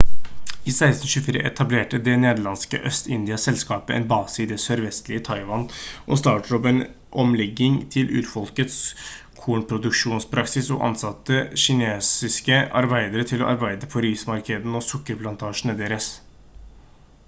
i 1624 etablerte det nederlandske øst-india-selskapet en base i det sørvestlige taiwan og startet opp med en omlegging til urfolkets kornproduksjonspraksis og ansatte kinesiske arbeidere til å arbeide på rismarkene og sukkerplantasjene deres